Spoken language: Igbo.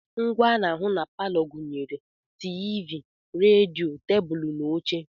Ngwá ana ahụ na palọ gụnyere TV, redio, tebụlụ na oche.